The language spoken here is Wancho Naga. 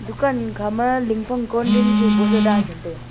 dukan khama ling phang cooldrink boh jaw dan tham taiga.